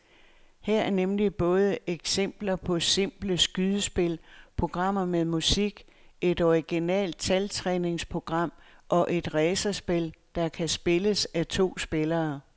Her er nemlig både eksempler på simple skydespil, programmer med musik, et originalt taltræningsprogram og et racerspil, der kan spilles af to spillere.